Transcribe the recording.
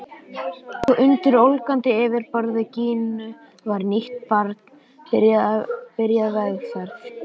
Og undir ólgandi yfirborði Gínu var nýtt barn byrjað vegferð.